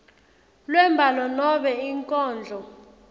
lwembhalo nobe inkondlo